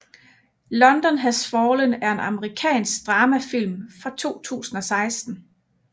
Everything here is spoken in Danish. London Has Fallen er en amerikansk drama film fra 2016